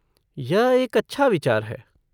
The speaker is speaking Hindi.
यह एक अच्छा विचार है।